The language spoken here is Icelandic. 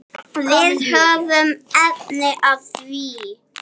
Við höfum efni á því.